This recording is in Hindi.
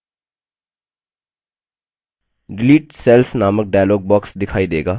delete cells नामक dialog box दिखाई देगा